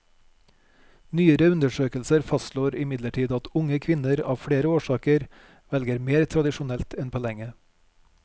Nyere undersøkelser fastslår imidlertid at unge kvinner av flere årsaker velger mer tradisjonelt enn på lenge.